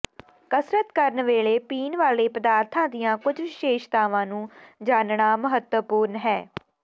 ਕਸਰਤ ਕਰਨ ਵੇਲੇ ਪੀਣ ਵਾਲੇ ਪਦਾਰਥਾਂ ਦੀਆਂ ਕੁਝ ਵਿਸ਼ੇਸ਼ਤਾਵਾਂ ਨੂੰ ਜਾਣਨਾ ਮਹੱਤਵਪੂਰਨ ਹੈ